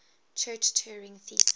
church turing thesis